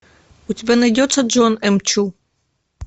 у тебя найдется джон м чу